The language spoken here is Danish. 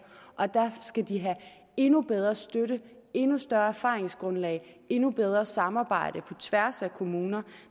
skal de have endnu bedre støtte endnu større erfaringsgrundlag og endnu bedre samarbejde på tværs af kommuner